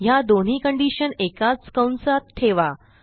ह्या दोन्ही कंडिशन एकाच कंसात ठेवा